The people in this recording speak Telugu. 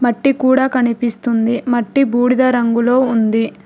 మట్టి కూడా కనిపిస్తుంది మట్టి బూడిద రంగులో ఉంది.